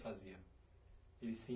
Fazia. Eles se